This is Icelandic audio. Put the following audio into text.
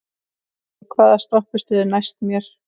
Von, hvaða stoppistöð er næst mér?